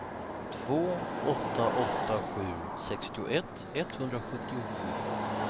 två åtta åtta sju sextioett etthundrasjuttiosju